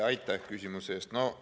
Aitäh küsimuse eest!